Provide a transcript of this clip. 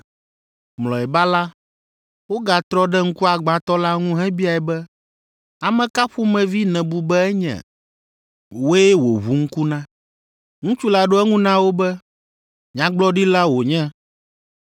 Mlɔeba la, wogatrɔ ɖe ŋkuagbãtɔ la ŋu hebiae be, “Ame ka ƒomevi nèbu be enye? Wòe wòʋu ŋku na.” Ŋutsu la ɖo eŋu na wo be, “Nyagblɔɖila wònye.”